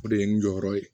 O de ye n jɔyɔrɔ ye